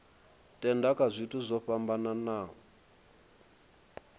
tenda kha zwithu zwo fhambanaho